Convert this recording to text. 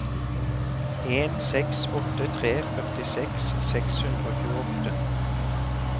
en seks åtte tre førtiseks seks hundre og tjueåtte